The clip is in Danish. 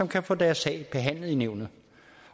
kan få deres sag behandlet i nævnet